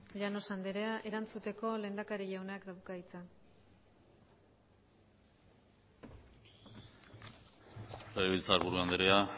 llanos andrea erantzuteko lehendakari jaunak dauka hitza legebiltzarburu andrea